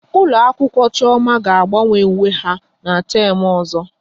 Ụlọ akwụkwọ Chioma ga agbanwe uwe ha n'teem ọzọ